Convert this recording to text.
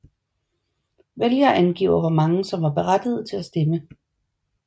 Vælgere angiver hvor mange som var berettigede til at stemme